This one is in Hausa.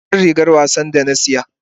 Ina jar rigar wasa da na saya?